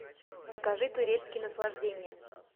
покажи турецкие наслаждения